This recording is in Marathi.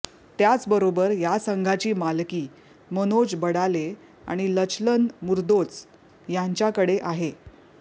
त्याचबरोबर या संघाची मालकी मनोज बडाले आणि लचलन मुर्दोच यांच्याकडे आहे